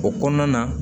O kɔnɔna na